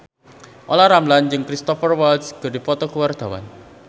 Olla Ramlan jeung Cristhoper Waltz keur dipoto ku wartawan